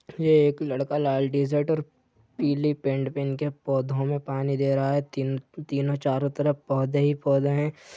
यह एक लड़का लाल टीशर्ट और पीली पेन्ट पहन के पोधो में पानी दे रहा है तीन तीनो चारो तरफ पौधे ही पोधा हैं।